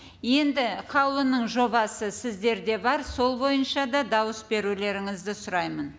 енді қаулының жобасы сіздерде бар сол бойынша да дауыс берулеріңізді сұраймын